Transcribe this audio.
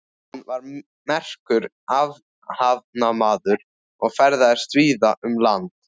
Hann var merkur athafnamaður og ferðaðist víða um land.